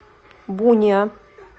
буниа